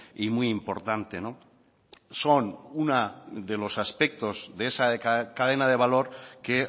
y muy importante son uno de los aspectos de esa cadena de valor que